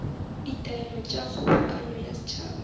ditaelo tša kgobokano ya setšhaba